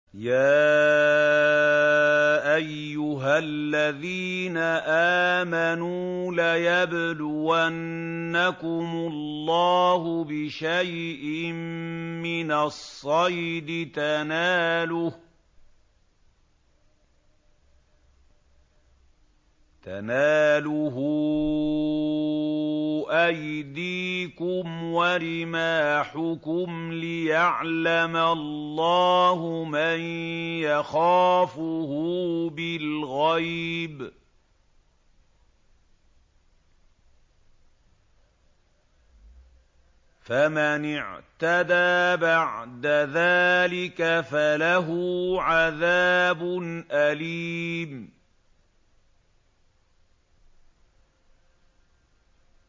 يَا أَيُّهَا الَّذِينَ آمَنُوا لَيَبْلُوَنَّكُمُ اللَّهُ بِشَيْءٍ مِّنَ الصَّيْدِ تَنَالُهُ أَيْدِيكُمْ وَرِمَاحُكُمْ لِيَعْلَمَ اللَّهُ مَن يَخَافُهُ بِالْغَيْبِ ۚ فَمَنِ اعْتَدَىٰ بَعْدَ ذَٰلِكَ فَلَهُ عَذَابٌ أَلِيمٌ